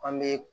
An bɛ